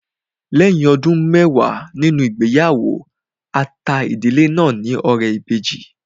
Lẹ́yìn ọdún mẹwàá nínú ìgbéyàwó, a ta ìdílé náà ní ọrẹ ìbejì